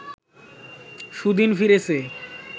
সুদিন ফিরেছে